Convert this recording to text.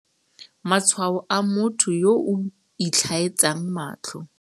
Matshwao a motho yo o itlhaetsang matlho.